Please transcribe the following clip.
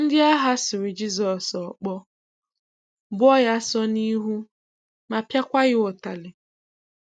Ndị agha sụrù Jisọs okpó, bùo Ya ásọ n’ihu, ma pịa kwa Ya ụtali.